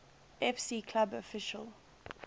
fc club official